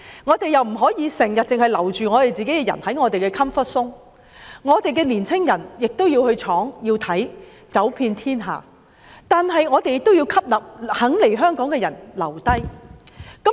我們不可以只留着本地人才在 "comfort zone" ，我們的青年人亦要往外闖，走遍天下，而我們亦要吸納願意來港的人才，令他們留下來。